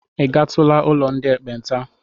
I gatụla ụlọ ndị ekpenta?